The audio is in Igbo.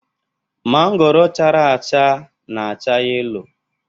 Mangoro chara acha na-acha yelo